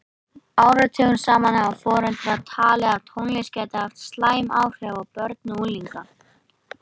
Áratugum saman hafa foreldrar talið að tónlist gæti haft slæm áhrif á börn og unglinga.